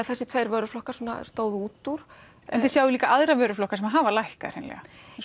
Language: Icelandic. þessir tveir vöruflokkar stóðu út úr en þið sjáið líka aðra vöruflokka sem hafa lækkað hreinlega jú